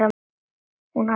Hún hallar sér fram.